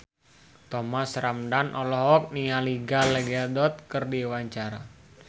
Thomas Ramdhan olohok ningali Gal Gadot keur diwawancara